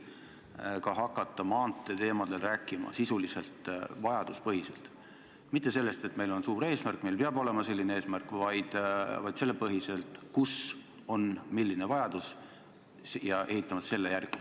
Kas te olete suuteline hakkama maanteeteemadel rääkima sisuliselt, vajaduspõhiselt, mitte lähtudes sellest, et meil on suur eesmärk, et meil peab olema suur eesmärk, vaid lähtudes sellest, mis on tegelik vajadus, ja ehitama vastavalt sellele?